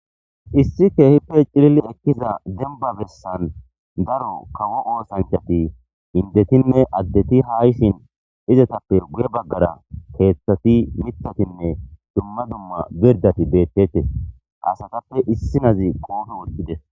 Issi keehippe cilili ekkiza demba bessan daro kawo oossanchati indetinne addeti haa yishin izatappe guye baggara keeththati miththatinne dumma dumma birdati beettetes asatappe issinozi qoobe wothides.